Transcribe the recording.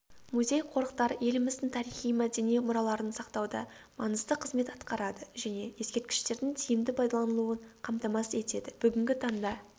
музей-қорықтар еліміздің тарихи-мәдени мұраларын сақтауда маңызды қызмет атқарады және ескерткіштердің тиімді пайдаланылуын қамтамасыз етеді бүгінгі таңда